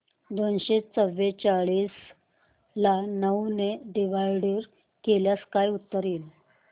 दोनशे चौवेचाळीस ला नऊ ने डिवाईड केल्यास काय उत्तर येईल